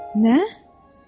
Nə?